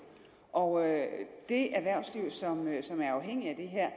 og det erhvervsliv som er afhængigt af det her